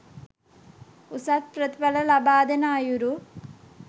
උසස් ප්‍රතිඵල ලබාදෙන අයුරු